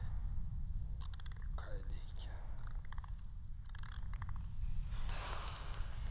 ekhayelitsha